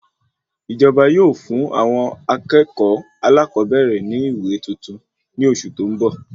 Ìjọba yóò fún àwọn akẹ́kọ̀ọ́ alakobere ní ìwé tuntun ní oṣù tó n bọ